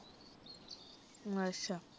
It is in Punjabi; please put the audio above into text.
ਅੱਛਾ